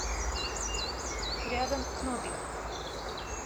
рядом кнопик